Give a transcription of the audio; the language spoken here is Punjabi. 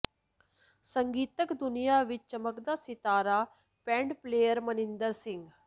ਸੰਗੀਤਕ ਦੁਨੀਆਂ ਵਿੱਚ ਚਮਕਦਾ ਸਿਤਾਰਾ ਪੈਡ ਪਲੇਅਰ ਮਨਿੰਦਰ ਸਿੰਘ